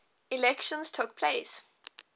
elections took place